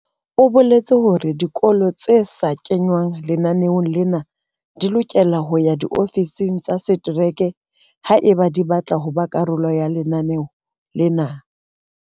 O boletse hore dikolo tse sa kengwang lenaneong lena di lokela ho ya diofising tsa setereke haeba di batla ho ba karolo ya lenaneo lena.